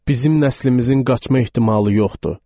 Bizim nəslimizin qaçma ehtimalı yoxdur.